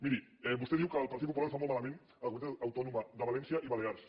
miri vostè diu que el partit popular ho fa molt malament a les comunitats autònomes de valència i balears